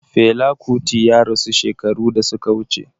Fela Kuti ya rasu shekaru da suka wuce